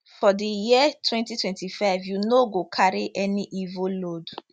for di year 2025 you no go carry any evil load